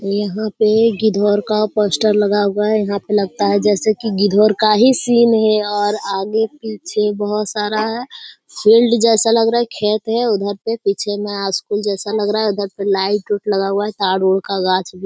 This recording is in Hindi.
यहाँ पर का पोस्टर लगा हुआ है यहाँ पर लगता है जैसे कि का ही सीन है और आगे पीछे बहुत सारा फील्ड जैसा लग रहा है खेत है उधर पर पीछे में स्कूल जैसा लग रहा है इधर पर लाइट -वाइट् लगा हुआ है उधर ताड़-उड़ का गाछ --